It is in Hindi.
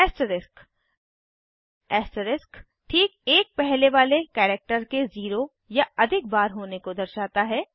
ऐस्टरिस्क ऐस्टरिस्क ठीक एक पहले वाले कैरेक्टर के 0 या अधिक बार होने को दर्शाता है